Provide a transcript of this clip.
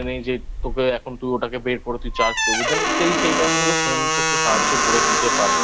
নেই যে তোকে এখন তুই ওটাকে বের করে তুই Charge করবি Then এই সেই Time এ তোকে Phone তো সাহায্য করে দিতে পারে